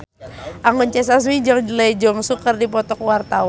Anggun C. Sasmi jeung Lee Jeong Suk keur dipoto ku wartawan